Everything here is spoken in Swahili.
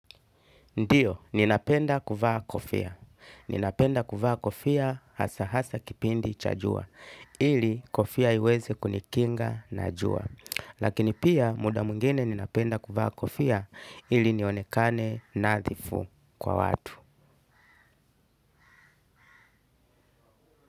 Ndiyo, ninapenda kuvaa kofia. Ninapenda kuvaa kofia hasa hasa kipindi cha jua ili kofia iweze kunikinga na jua. Lakini pia muda mwingine ninapenda kuvaa kofia ili nionekane nadhifu kwa watu.